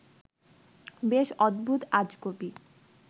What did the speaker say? বেশ অদ্ভুত-আজগুবি